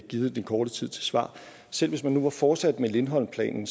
givet den korte tid til svar selv hvis man nu var fortsat med lindholm planen